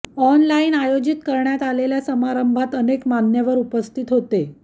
online आयोजित करण्यात आलेल्या समारंभात अनेक मान्यवर उपस्थित होते